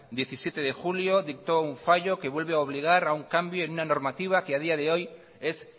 diecisiete de julio dictó un fallo que vuelve a obligar a un cambio en una normativa que a día de hoy es